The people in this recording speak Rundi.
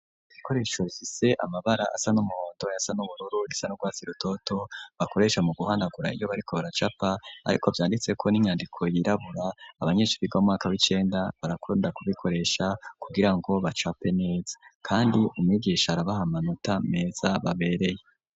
Ibikoresho bifise amabara asa n'umuhondo ayasa n'ubururu irisa nu rwatsi rutoto bakoresha mu guhanagura iyo bariko baracapa ariko vyanditseko n'inyandiko yirabura, abanyeshure bo mu mwaka w'icenda barakunda kubikoresha kugira ngo bacape neza, kandi umwigisha arabaha amanota meza kandi abereye.